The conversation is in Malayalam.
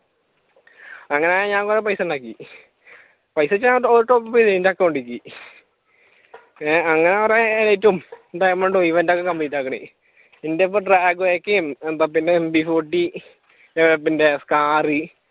അങ്ങനെ ഞാൻ കുറെ പൈസയുണ്ടാക്കി പൈസാന്ന് വെച്ചാൽ alltopup എന്റെ അക്കൗണ്ടിലേക്ക് ഏഹ് അങ്ങനെ കുറെ എലൈറ്റും ഡയമെണ്ടും ഇവന്റും ഒകെ complete ആക്കാണെ എന്റെ ഇപ്പൊ ഇപ്പൊ പിന്നെ MPfourty പിന്നെ scary